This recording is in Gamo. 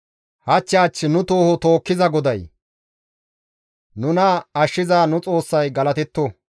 Hach hach nu tooho tookkiza Goday, nuna ashshiza nu Xoossay galatetto.